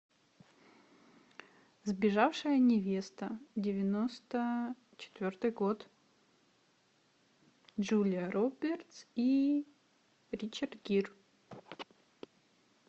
сбежавшая невеста девяносто четвертый год джулия робертс и ричард гир